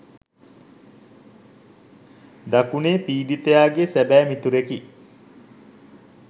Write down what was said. දකුණේ පීඩිතයාගේ සැබෑ මිතුරෙකි.